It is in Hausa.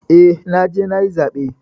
Eh, naje nayi zaɓe.